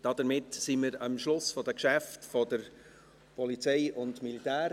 Damit sind wir am Schluss der Geschäfte der POM angelangt.